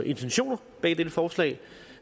intentioner bag dette forslag